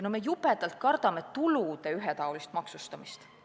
Me jubedalt kardame tulude ühetaolist maksustamist.